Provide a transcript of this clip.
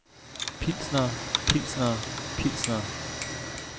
pilsnere pilsnere pilsnere